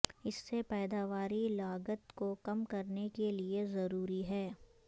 اس سے پیداواری لاگت کو کم کرنے کے لئے ضروری ہے